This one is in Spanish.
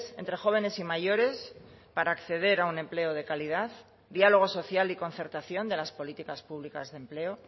entre jóvenes y mayores para acceder a un empleo de calidad diálogo social y concertación de las políticas públicas de empleo